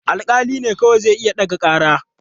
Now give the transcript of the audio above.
Alƙali ne kawai zai iya ɗage ƙara.